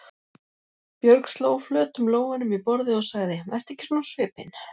Björg sló flötum lófunum í borðið og sagði: Vertu ekki svona á svipinn.